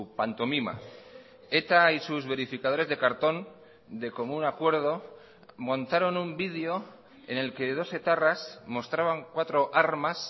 pantomima eta y sus verificadores de cartón de común acuerdo montaron un video en el que dos etarras mostraban cuatro armas